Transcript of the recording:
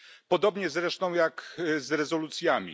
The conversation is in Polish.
Podobnie zresztą jak z rezolucjami.